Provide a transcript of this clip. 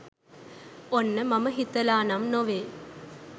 ඔන්න මම හිතලා නම් නොවේ